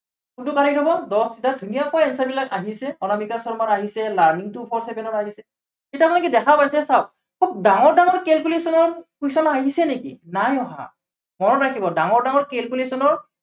কোনটো correct হব, দহ লিটাৰ, ধুনীয়াকৈ answer বিলাক আহিছে, অনামিকা শৰ্মাৰ আহিছে, learning to four seven ৰ আহিছে। এতিয়া মানে কি দেখা পাইছে চাওক। খুব ডাঙৰ ডাঙৰ calculation ৰ question আহিছে নেকি, নাই অহা। মনত ৰাখিব ডাঙৰ ডাঙৰ calculation ৰ